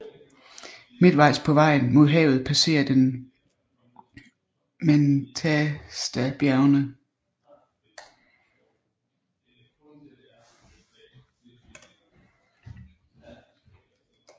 Midtvejs på vejen mod havet passerer den Mentastabjergene